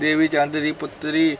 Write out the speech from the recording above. ਦੇਵੀਚੰਦ ਦੀ ਪੁੱਤਰੀ